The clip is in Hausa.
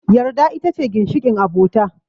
Yarda ita ce ginshiƙin abota